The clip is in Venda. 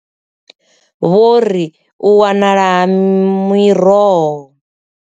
Vho ri u wanala ha miroho.